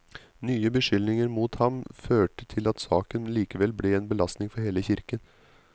Nye beskyldninger mot ham førte til at saken likevel ble en belastning for hele kirken.